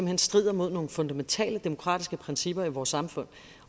hen strider mod nogle fundamentale demokratiske principper i vores samfund